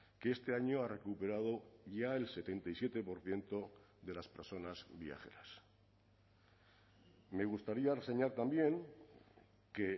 que este año ha recuperado ya el setenta y siete por ciento de las personas viajeras me gustaría reseñar también que